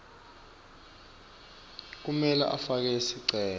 kumele afake sicelo